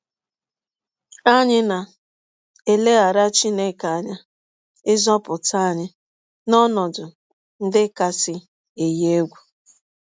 Anyị na - elegara Chineke anya ịzọpụta anyị n’ọnọdụ ndị kasị eyi egwụ.